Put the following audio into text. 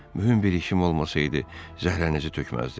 Mühüm bir işim olmasaydı, zəhrənizi tökməzdim.